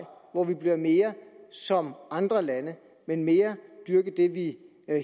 hvor vi bliver mere som andre lande men mere dyrke det vi